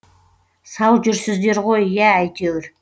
сау жүрсіздер ғой иә әйтеуір